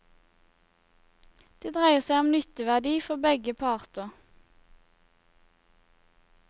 Det dreier seg om nytteverdi for begge parter.